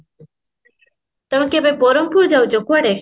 ତମେ କେବେ ବରହମପୁର ଯାଉଚ କୁଆଡେ